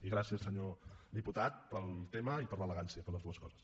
i gràcies senyor diputat per al tema i per l’elegància per les dues coses